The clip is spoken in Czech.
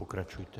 Pokračujte.